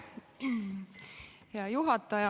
Hea juhataja!